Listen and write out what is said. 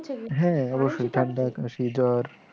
হ্যাঁ অবশ্যই ঠাণ্ডা, কাশি, জ্বর ।